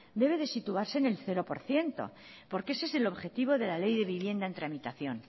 debe de situarse en el cero por ciento porque ese es el objetivo de la ley de vivienda en tramitación